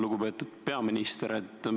Lugupeetud peaminister!